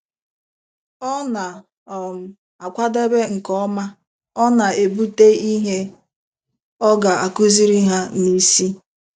Ọ na um - akwadebe nke ọma, ọ na - ebute ihe ọ ga - akụziri ha n’isi.